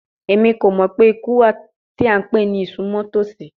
Emi ko mọ pe iku wa ti a npe ni isunmọtosi